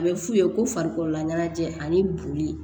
A bɛ f'u ye ko farikololaɲɛnajɛ ani boli